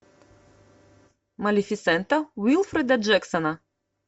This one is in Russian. малефисента уилфреда джексона